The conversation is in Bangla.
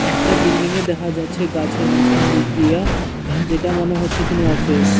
একটা বিল্ডিং ও দেখা যাচ্ছে গাছের মাঝখান দিক দিয়া যেটা মনে হচ্ছে কোনো অফিস ।